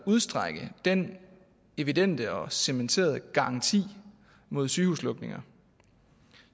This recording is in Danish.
udstrække den evidente og cementerede garanti mod sygehuslukninger